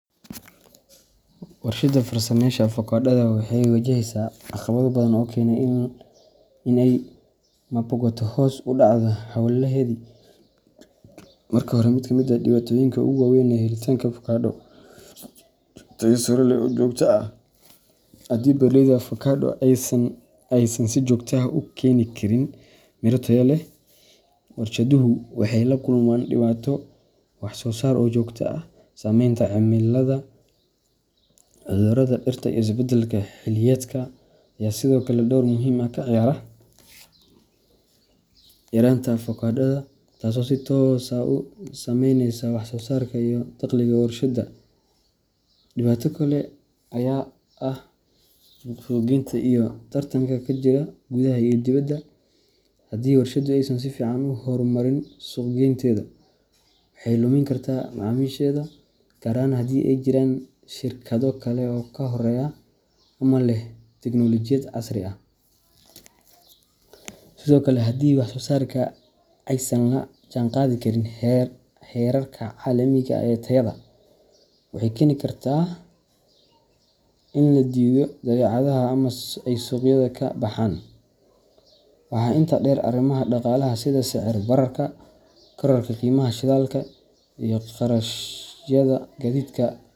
Warshada farsamaysa avokadada waxay wajahaysaa caqabado badan oo keenay in ay maboqato ama hoos u dhacdo hawlaheedii. Marka hore, mid ka mid ah dhibaatooyinka ugu weyn waa helitaanka avocado tayo sare leh oo joogto ah. Haddii beeraleyda avocado aysan si joogto ah u keeni karin miro tayo leh, warshaduhu waxay la kulmaan dhibaato wax soo saar oo joogto ah. Saameynta cimilada, cudurrada dhirta, iyo isbeddelka xilliyeedka ayaa sidoo kale door muhiim ah ka ciyaara yaraanta avocadoda, taasoo si toos ah u saameynaysa wax soo saarka iyo dakhliga warshadda. Dhibaato kale ayaa ah suuq geynta iyo tartanka ka jira gudaha iyo dibedda. Haddii warshaddu aysan si fiican u horumarin suuq geynteeda, waxay lumin kartaa macaamiisheeda, gaar ahaan haddii ay jiraan shirkado kale oo ka horreeya ama leh tiknoolajiyad casri ah. Sidoo kale, haddii wax soo saarka aysan la jaanqaadi karin heerarka caalamiga ah ee tayada, waxay keeni kartaa in la diido badeecadaha ama ay suuqyada ka baxaan. Waxaa intaa dheer, arrimaha dhaqaalaha sida sicir bararka, kororka qiimaha shidaalka, iyo kharashyada gaadiidka.